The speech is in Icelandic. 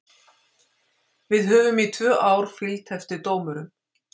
Við höfum í tvö ár fylgt eftir dómurum.